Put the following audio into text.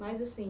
Mas, assim,